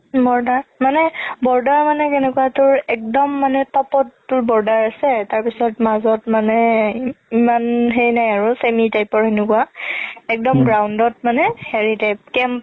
border মানে border মানে কেনেকুৱা তোৰ একদম মানে top ত তোৰ border আছে তাৰ পিছত মাজত মানে ইমান সেই নাই আৰু channel type ৰ সেনেকুৱা একদম ground মানে হেৰি type camp